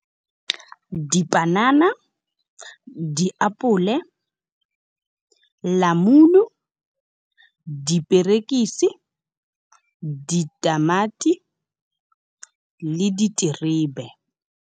Dipanana, diapole, namune, diperekisi, ditamati le diterebe.